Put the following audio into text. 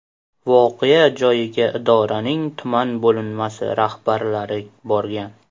Voqea joyiga idoraning tuman bo‘linmasi rahbarlari borgan.